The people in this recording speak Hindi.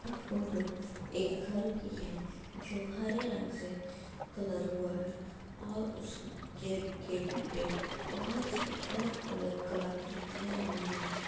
यह फोटो एक घर की है जो हरे रंग से कलर हुआ है और उसके गेट पे बोहोत सी अलग-अलग कलाकृतियाँ भी हैं।